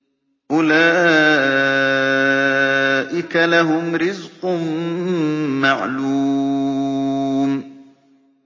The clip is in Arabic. أُولَٰئِكَ لَهُمْ رِزْقٌ مَّعْلُومٌ